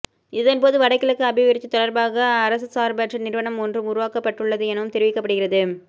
இதன் போது வடகிழக்கு அபிவிருத்தி தொடர்பாக அரசசார்பற்ற நிறுவனம் ஒன்றும் உருவாக்கப்பட்டுள்ளது எனவும் தெரிவிக்கபடுகிறது